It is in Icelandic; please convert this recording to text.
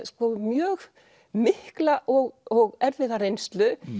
mjög mikla og erfiða reynslu